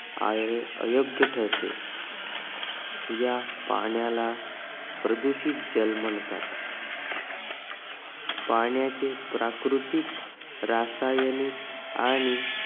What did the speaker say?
अयोग्य ठरते या पाण्याला प्रदूषित जल म्हणतात पाण्याचे प्राकृतिक रासायनिक आणि अं